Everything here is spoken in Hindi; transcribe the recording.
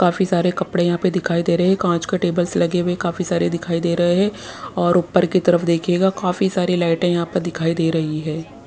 काफी सारे कपड़े यहाँ पे दिखाई दे रहे हैं काँच के टेबल्स लगे हुए काफी सारे दिखाई दे रहे हैं और ऊपर की तरफ देखिएगा काफी सारी लाइटें यहाँ पर दिखाई दे रही है।